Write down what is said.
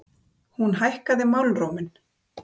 Hún hækkaði málróminn.